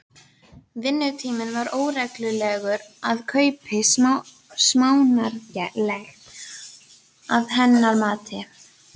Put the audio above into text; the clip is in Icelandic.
Vinnutíminn var óreglulegur og kaupið smánarlegt, að hennar mati.